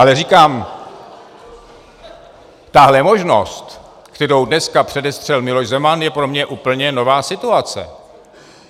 Ale říkám, tahle možnost, kterou dneska předestřel Miloš Zeman, je pro mě úplně nová situace.